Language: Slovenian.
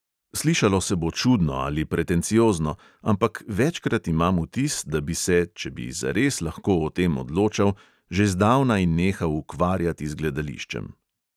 Slišalo se bo čudno ali pretenciozno, ampak večkrat imam vtis, da bi se, če bi zares lahko o tem odločal, že zdavnaj nehal ukvarjati z gledališčem.